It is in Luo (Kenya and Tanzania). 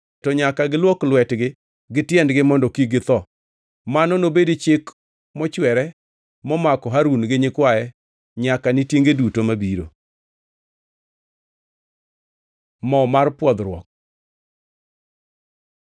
to nyaka giluok lwetgi gi tiendgi mondo kik githo. Mano nobedi chik mochwere momako Harun gi nyikwaye nyaka ni tienge duto mabiro.” Mo mar pwodhruok